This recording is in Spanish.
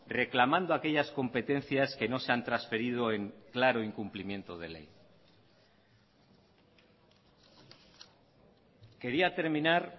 reclamando aquellas competencias que no se han transferido en claro incumplimiento de ley quería terminar